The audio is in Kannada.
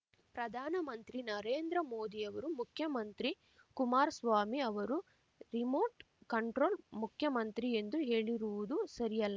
ಪ್ರಧಾನಮಂತ್ರಿ ನರೇಂದ್ರ ಮೋದಿಯವರು ಮುಖ್ಯಮಂತ್ರಿ ಕುಮಾರ್ ಸ್ವಾಮಿ ಅವರು ರಿಮೋಟ್ ಕಂಟ್ರೋಲ್ ಮುಖ್ಯಮಂತ್ರಿ ಎಂದು ಹೇಳಿರುವುದು ಸರಿಯಲ್ಲ